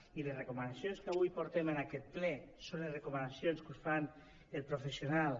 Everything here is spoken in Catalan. i les recomanacions que avui portem en aquest ple són les recomanacions que us fan els professionals